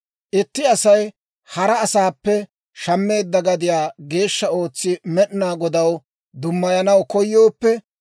« ‹Itti Asay hara asaappe shammeedda gadiyaa geeshsha ootsi Med'inaa Godaw dummayanaw koyooppe,